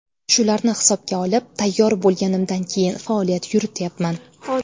Shularni hisobga olib, tayyor bo‘lganimdan keyin faoliyat yurityapman.